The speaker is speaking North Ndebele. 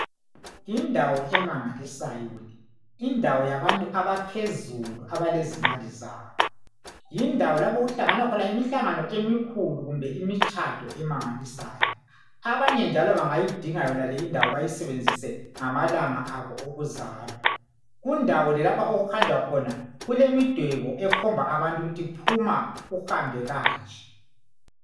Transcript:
Indawo emangalisayo le indawo yabantu baphezulu abalezimali zabo. Indawo lapho okuhlangana khona imihlangano emikhulu kumbe imitshado emangalisayo. Abanye njalo bangayidinga yonale indawo bayisebenzise ngamalanga abo okuzalwa. Kundawo le lapho okuhanjwa khona kulemidwebo ekhomba abantu ukuthi phuma uhambe kanje.